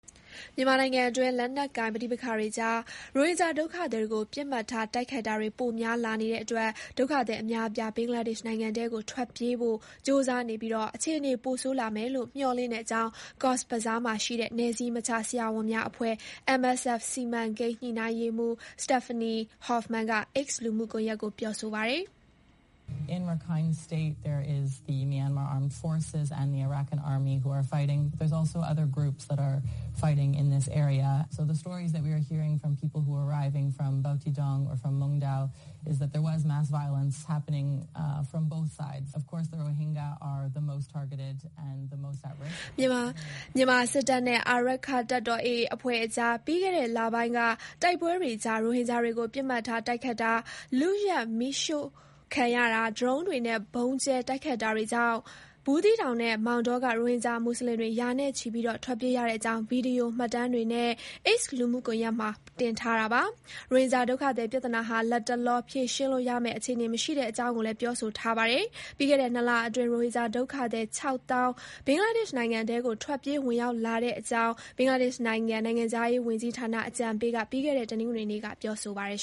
မြန်မာနိုင်ငံအတွင်း လက်နက်ကိုင်ပဋိပက္ခတွေကြား ရိုဟင်ဂျာဒုက္ခသည်တွေကို ပစ်မှတ်ထား တိုက်ခိုက်တာတွေ ပိုများလာနေတဲ့အတွက် ဒုက္ခသည်အများအပြား ဘင်္ဂလားဒေ့ရှ်နိုင်ငံထဲကို ထွက်ပြေးဖို့ ကြိုးစားနေပြီး အခြေအနေ ပိုဆိုးလာမယ်လို့ မျှော်လင့်ကြောင်း ကော့်ဇ်ဘဇားမှာရှိတဲ့ နယ်စည်းမခြား ဆရာဝန်များအဖွဲ့ (MSF) စီမံကိန်းညှိနှိုင်းရေးမှူးStephanie Hoffman က X လူမှုကွန်ယက်မှာ ပြောပါတယ်။ မြန်မာစစ်တပ်နဲ့ အာရက္ခတပ်တော် (AA) အဖွဲ့ကြား ပြီးခဲ့တဲ့လပိုင်းက တိုက်ပွဲတွေကြား ရိုဟင်ဂျာ တွေကို ပစ်မှတ်ထားတိုက်ခိုက်တာ၊ လုယက်မီးရှို့ခံရတာ၊ ဒရုန်းယာဉ်တွေနဲ့ ဗုံးကြဲတိုက်ခိုက်တာ တွေကြောင့် ဘူးသီးတောင်နဲ့ မောင်တောက ရိုဟင်ဂျာမူဆလင်တွေ ရာနဲ့ချီ ထွက်ပြေးရကြောင်း ဗွီဒီယို မှတ်တမ်းတွေနဲ့ X လူမှုကွန်ယက်မှာ တင်ထားတာပါ။ ရိုဟင်ဂျာဒုက္ခသည် ပြဿနာဟာ လတ်တလော ဖြေရှင်းလို့ရမယ့် အခြေအနေမရှိတဲ့အကြောင်းကိုလည်း ပြောထားပါတယ်။ ပြီးခဲ့တဲ့ နှစ်လအတွင်း ရိုဟင်ဂျာဒုက္ခသည် ခြောက်သောင်း ဘင်္ဂလားဒေ့ရှ်နိုင်ငံထဲကို ထွက်ပြေးဝင် ရောက်လာတဲ့အကြောင်း ဘင်္ဂလားဒေ့ရှ်နိုင်ငံ နိုင်ငံခြားရေးဝန်ကြီးဌာန အကြံပေး Touhid Hossain က ပြီးခဲ့တဲ့ တနင်္ဂနွေနေ့က ပြောပါတယ်